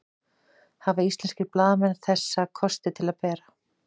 hafa íslenskir blaðamenn þessa kosti til að bera